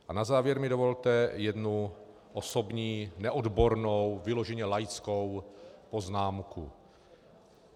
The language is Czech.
A na závěr mi dovolte jednu osobní neodbornou, vyloženě laickou poznámku.